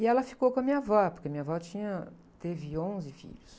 E ela ficou com a minha avó, porque a minha avó tinha, teve onze filhos.